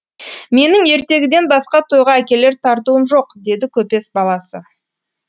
менің ертегіден басқа тойға әкелер тартуым жоқ деді көпес баласы